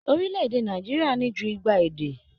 Orilẹ-èdè Nàìjíríà ní jù igba èdè.